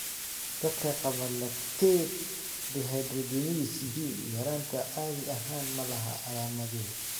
Dadka qaba lactate dehydrogenase B yaraanta caadi ahaan ma laha calaamado.